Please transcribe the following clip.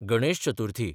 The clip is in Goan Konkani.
गणेश चतुर्थी